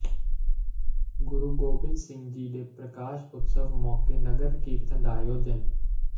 ਗੁਰੂ ਗੋਬਿੰਦ ਸਿੰਘ ਜੀ ਦੇ ਪ੍ਰਕਾਸ਼ ਉਤਸਵ ਮੌਕੇ ਨਗਰ ਕੀਰਤਨ ਦਾ ਆਯੋਜਨ